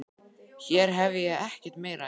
Hér hef ég ekkert meira að gera.